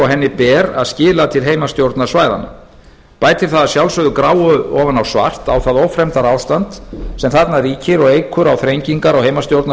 henni ber að skila til heimastjórnarsvæðanna bætir það að sjálfsögðu gráu ofan á svart á það ófremdarástand sem þarna ríkir og eykur á þrengingar á